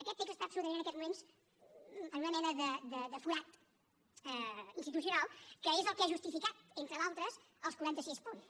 aquest text està absolutament en aquests moments en una mena de forat institucional que és el que ha justificat entre d’altres els quaranta sis punts